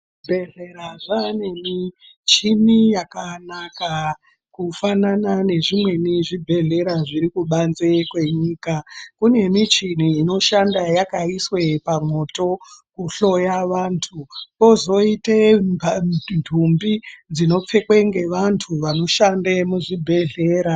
Zvibhedhlera zvaane michini yakanaka kufanana nezvimweni zvibhedhlera zviri kubanze kwenyika. Kune michini inoshanda yakaiswe pamoto kuhloya vantu kozoite ndumbi dzinopfekwe ngevantu vanoshande muzvibhedhlera.